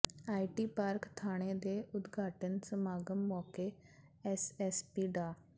IT park ਥਾਣੇ ਦੇ ਉਦਘਾਟਨ ਸਮਾਗਮ ਮੌਕੇ ਐਸਐਸਪੀ ਡਾ